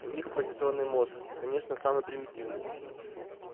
у них позитронный мозг конечно самый примитивный